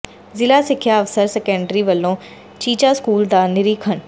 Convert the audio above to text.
ਜ਼ਿਲ੍ਹਾ ਸਿੱਖਿਆ ਅਫ਼ਸਰ ਸੈਕੰਡਰੀ ਵਲੋਂ ਚੀਚਾ ਸਕੂਲ ਦਾ ਨਿਰੀਖਣ